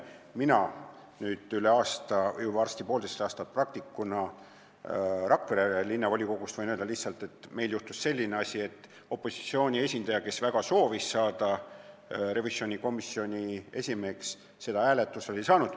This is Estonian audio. Mina olen üle aasta, varsti poolteist aastat praktiseerinud Rakvere Linnavolikogus ja võin öelda, et meil juhtus selline asi, et opositsiooni esindaja, kes väga soovis saada revisjonikomisjoni esimeheks, hääletusel toetust ei saanud.